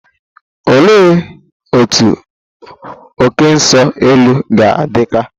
Olee otú oké nso-elu ga-adị ka?